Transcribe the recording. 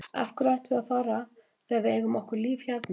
Af hverju ættum við að fara þegar við eigum okkar líf hérna?